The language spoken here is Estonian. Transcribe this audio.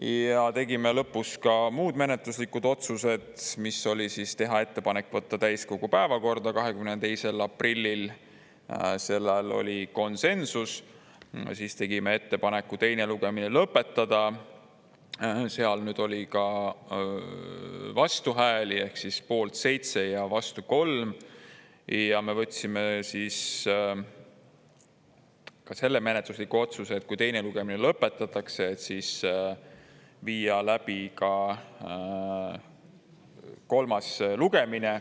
Ja tegime lõpus ka muud menetluslikud otsused, mis oli teha ettepanek võtta täiskogu päevakorda 22. aprillil, selles oli konsensus, siis tegime ettepaneku teine lugemine lõpetada, seal oli ka vastuhääli ehk poolt 7 ja vastu 3, ja me võtsime siis ka selle menetlusliku otsuse, et kui teine lugemine lõpetatakse, siis viia läbi ka kolmas lugemine.